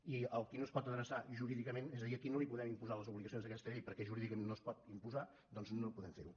i a qui no es pot adreçar jurídicament és a dir a qui no li podem imposar les obligacions d’aquesta llei perquè jurídicament no es pot imposar doncs no podem ferho